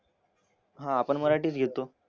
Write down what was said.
हां आपण मराठीच घेतो.